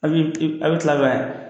A bi a bi kila kɛ.